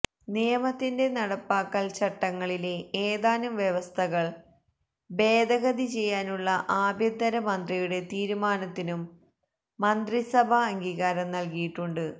നിയമത്തിന്റെ നടപ്പാക്കല് ചട്ടങ്ങളിലെ ഏതാനും വ്യവസ്ഥകൾ ഭേദഗതി ചെയ്യാനുള്ള ആഭ്യന്തര മന്ത്രിയുടെ തീരുമാനത്തിനും മന്ത്രിസഭ അംഗീകാരം നല്കിയിട്ടുണ്ട്